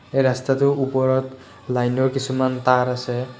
এই ৰাস্তাটোৰ ওপৰত লাইটৰ কিছুমান তাঁৰ আছে।